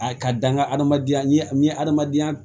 A ka dan ka hadamadenya ni hadamadenya